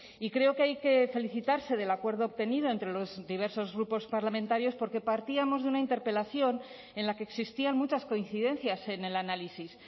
y creo que hay que felicitarse del acuerdo obtenido entre los diversos grupos parlamentarios porque partíamos de una interpelación en la que existían muchas coincidencias en el análisis